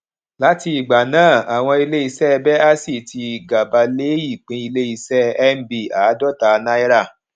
láti ìgbà náà àwọn ilé iṣẹ bẹàsì tí gàba lé ìpín ilé iṣẹ nb àádóta náírà